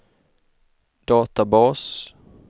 databas